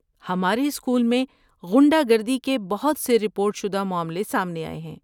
ہمارے اسکول میں غنڈہ گردی کے بہت سے رپورٹ شدہ معاملے سامنے آئے ہیں۔